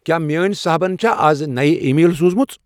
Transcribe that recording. کیا میٲنۍ صحبن چھا مے از نَیِہ ای میل سوزمٕژ ؟